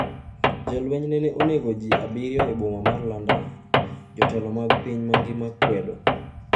Jolweny nene onego ji 7 e boma mar London, jotelo mag piny mangima kwedo